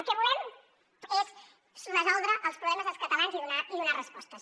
el que volem és resoldre els problemes dels catalans i donar respostes